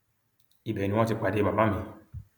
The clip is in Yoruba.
ibẹ ni wọn ti pàdé màmá mi